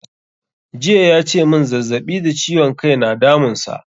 Jiya ya ce mun zazzaɓi da ciwon kai na damun sa